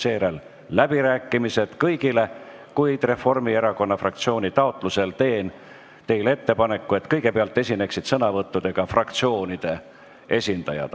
Seejärel on läbirääkimised, kus saavad osaleda kõik, kuid Reformierakonna fraktsiooni taotlusel teen teile ettepaneku, et kõigepealt esineksid sõnavõttudega fraktsioonide esindajad.